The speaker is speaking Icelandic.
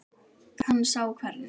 Hann sá hvernig